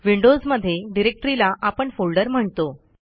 Windows मध्ये डिरेक्टरीला आपण फोल्डर म्हणतो